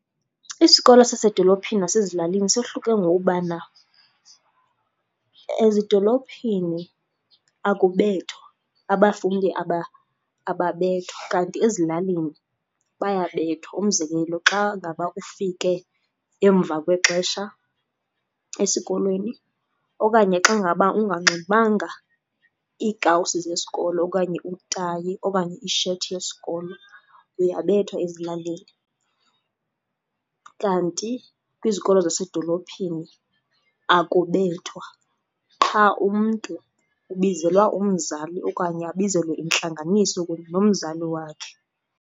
Isikolo sasedolophini nesasezilalini sohluke ngokubana ezidolophini akubethwa. Abafundi ababethwa, kanti ezilalini bayabethwa. Umzekelo, xa ngaba ufike emva kwexesha esikolweni okanye xa ngaba unganxibanga iikawusi zesikolo okanye utayi okanye isheti yesikolo uyabethwa ezilalini. Kanti kwizikolo zasedolophini akubethwa qha umntu ubizelwa umzali okanye abizelwe intlanganiso kunye nomzali wakhe.